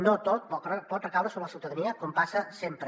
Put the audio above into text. no tot pot recaure sobre la ciutadania com passa sempre